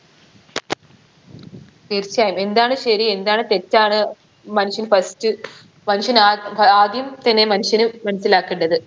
തീർച്ചയായും എന്താണ് ശരി എന്താണ് തെറ്റാണ് മനുഷ്യൻ first മനുഷ്യൻ ആ ആദ്യം മനുഷ്യന് മനസ്സിലാക്കണ്ടത്